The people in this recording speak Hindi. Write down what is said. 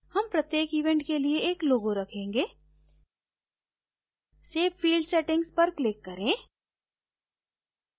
हम प्रत्येक event के लिए एक logo रखेंगे save field settings पर click करें